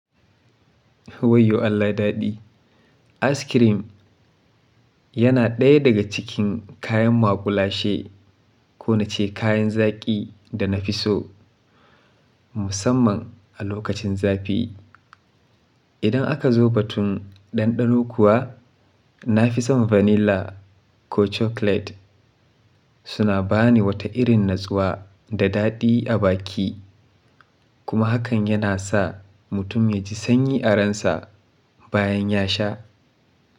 Wayyo Allah daɗi. Askirim yana ɗaya daga cikin kayan maƙulashe, ko nace kayan zaƙi danafi so musamman a lokacin zafi. Idan aka zo batun ɗanɗano kuwa, nafison vanilla ko chocolate suna bani wata irin natsuwa da daɗi a baki kuma hakan yana sa mutum yaji sanyi a ransa bayan ya sha.